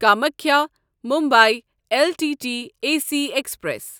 Kamakhya Mumbai L L T A C express